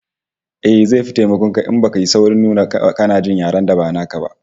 Eh, zai fi taimakon ka in baka yi saurin nuna kana jin yaren da ba naka ba